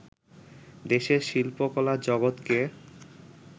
দেশের শিল্পকলার জগৎকে